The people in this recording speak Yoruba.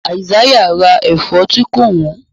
Isaiah rà èfó tí kò wón.